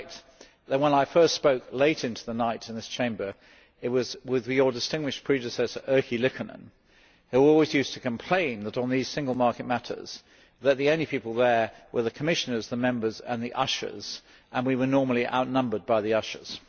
I reflect that, when I first spoke late into the night in this Chamber, it was with your distinguished predecessor Erkki Liikanen, who always used to complain that on these single market matters the only people there were the Commissioners, the Members and the ushers and that we were normally outnumbered by the ushers.